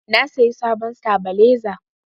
Na sayi sabon satabaleza